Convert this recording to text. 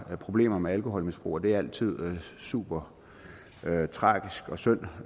problemer med alkoholmisbrug og det er altid super tragisk og synd